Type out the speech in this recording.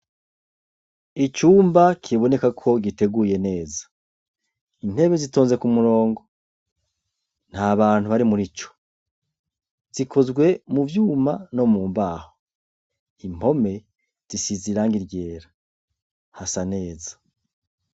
Icumba kiboneka ko giteguye neza intebe zitonze ku murongo ntabantu bari muri co zikozwe muvyumba no mu mbaho impome zishize irangi ryera hasa neza.